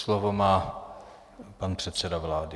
Slovo má pan předseda vlády.